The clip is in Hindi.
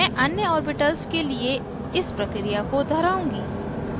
मैं अन्य orbital के लिए इस प्रक्रिया को दोहराऊँगी